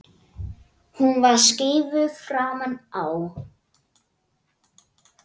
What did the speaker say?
Hún er skeifu framan á.